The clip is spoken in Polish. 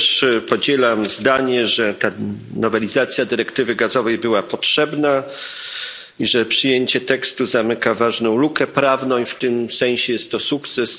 Ja też podzielam zdanie, że ta nowelizacja dyrektywy gazowej była potrzebna i że przyjęcie tekstu zamyka ważną lukę prawną, i w tym sensie jest to sukces.